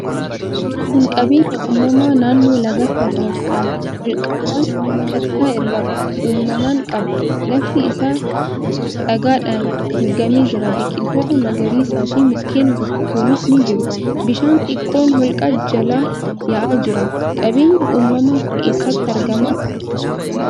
Kun qabeenya uumamaa naannoo lagaatti argamuudha. Holqawwan kattaa irraa uumaman qaba. Lafti isaa dhagaadhaan haguugamee jira. Biqiltoota magariisaafi mukkeen guguddoonis ni jiru. Bishaan xiqqoon holqa jalaa yaa'aa jira. Qabeenyi uumamaa kun eessatti argama?